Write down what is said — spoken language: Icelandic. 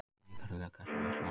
Veikari löggæsla á Vesturlandi